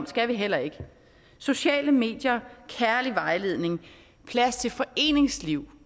skal vi heller ikke sociale medier kærlig vejledning og plads til foreningsliv